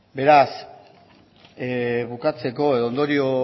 beraz bukatzeko edo ondorio